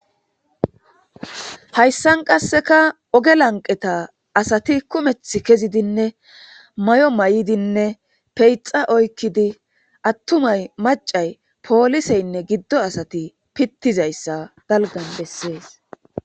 hayssan qasseka oge lanqeta asati kumeth kezidinne may7o may7idinne peyxa oykkidi attumay macay pooliseynne giddo asati pittizayssa dalgan bessees